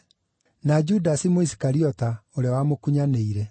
na Judasi Mũisikariota, ũrĩa wamũkunyanĩire.